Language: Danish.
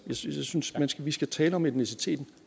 synes synes vi skal tale om etniciteten